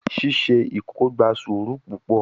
Ṣiṣe ikoko gba sũru pupọ